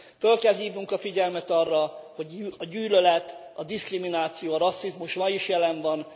Föl kell hívnunk a figyelmet arra, hogy a gyűlölet, a diszkrimináció, a rasszizmus ma is jelen van.